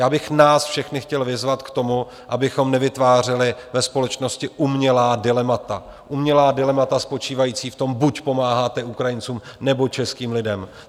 Já bych nás všechny chtěl vyzvat k tomu, abychom nevytvářeli ve společnosti umělá dilemata - umělá dilemata spočívající v tom, buď pomáháte Ukrajincům, nebo českým lidem.